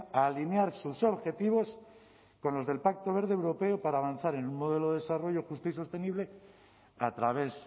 a alinear sus objetivos con los del pacto verde europeo para avanzar en un modelo de desarrollo justo y sostenible a través